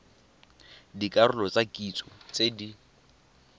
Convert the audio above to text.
dikarolo tsa kitso tse di